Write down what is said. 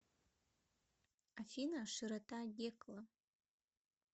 афина широта гекла